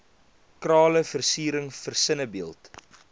krale versiering versinnebeeld